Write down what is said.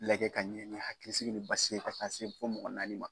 Lagɛ ka ɲɛ hakilisigi basigi ka taa se fo mɔgɔ naani ma.